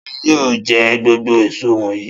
Ta ni yóò jẹ gbogbo èso wọ̀nyí?